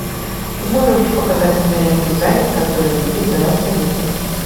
ты можешь показать киноленту заяц который любил давать советы